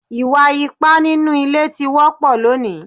Ìwà ipá nínú ilé ti wọ́pọ̀ lónìí